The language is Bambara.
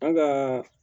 An gaa